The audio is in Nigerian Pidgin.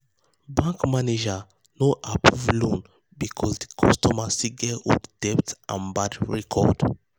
bank manager no approve loan because di customer still get old debt and bad record.